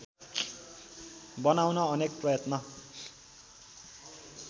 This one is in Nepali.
बनाउन अनेक प्रयत्न